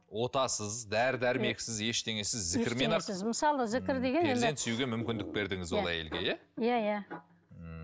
отасыз дәрі дәрмексіз ештеңесіз зікірмен ақ мысалы зікір деген перзент сүюге мүмкіндік бердіңіз ол әйелге иә иә иә ммм